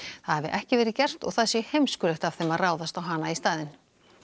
hafi ekki verið gert og það sé heimskulegt af þeim að ráðast á hana í staðinn